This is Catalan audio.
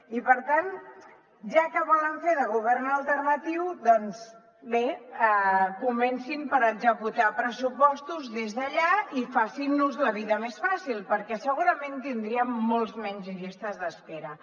i per tant ja que volen fer de govern alternatiu doncs bé comencin per executar pressupostos des d’allà i facin nos la vida més fàcil perquè segurament tindríem moltes menys llistes d’espera